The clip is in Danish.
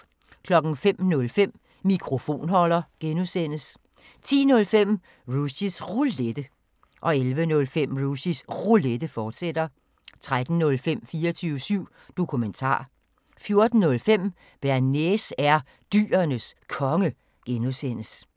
05:05: Mikrofonholder (G) 10:05: Rushys Roulette 11:05: Rushys Roulette, fortsat 13:05: 24syv Dokumentar 14:05: Bearnaise er Dyrenes Konge (G)